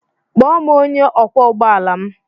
Kpọọ m onye ọkwọ ụgbọ ala m.